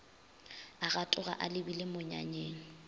a gatoga a lebile monyanyeng